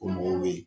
O mɔgɔw bɛ yen